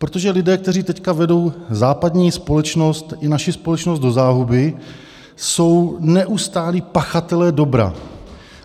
Protože lidé, kteří teď vedou západní společnost i naši společnost do záhuby, jsou neustálí pachatelé dobra.